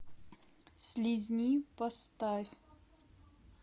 слизни поставь